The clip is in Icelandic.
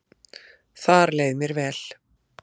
Þar leið mér vel